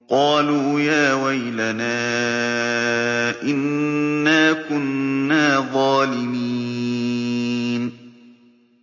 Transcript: قَالُوا يَا وَيْلَنَا إِنَّا كُنَّا ظَالِمِينَ